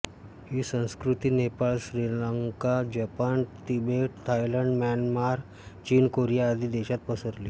ही संस्कृती Nepal Sri Lanka Japan Tibet Thailand Myanmar चीन Korea आदी देशात पसरली